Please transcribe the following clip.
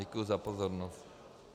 Děkuji za pozornost.